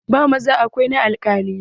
Ba maza kawai na alkalai ba.